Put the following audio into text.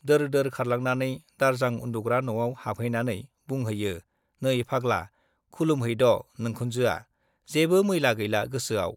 दोर-दोर खारलांनानै दारजां उन्दुग्रा न'आव हाबहैनानै बुंहैयो, नै फाग्ला, खुलुमहैद' नोंखुनजोआ, जेबो मैला गैला गोसोआव।